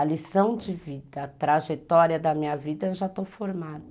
A lição de vida, a trajetória da minha vida, eu já estou formada.